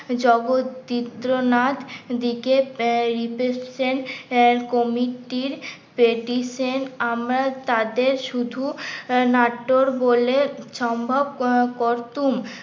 জগৎদীপ্তনাথ দিকে committee র আমরা তাদের শুধু নাটোর বলে সম্ভব করতুম